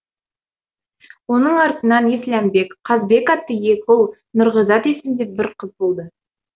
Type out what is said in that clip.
оның артынан есләмбек қазбек атты екі ұл нұрғизат есімді бір қызды болады